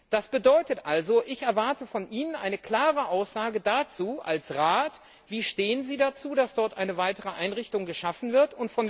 Das bedeutet also Ich erwarte von Ihnen eine klare Aussage als Rat dazu, wie Sie dazu stehen, dass dort eine weitere Einrichtung geschaffen wird.